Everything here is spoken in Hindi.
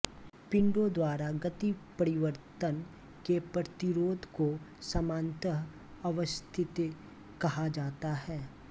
पिंडों द्वारा गतिपरिवर्तन के प्रतिरोध को सामान्यतः अवस्थितत्व कहा जाता है